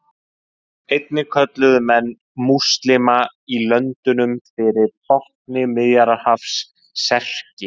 Einnig kölluðu menn múslíma í löndunum fyrir botni Miðjarðarhafs Serki.